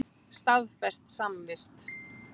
Staðfest samvist.